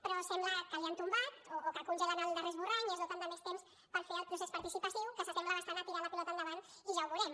però sembla que l’hi han tombat o que congelen el darrer esborrany i es doten de més temps per fer el procés participatiu que s’assembla bastant a tirar la pilota endavant i ja ho veurem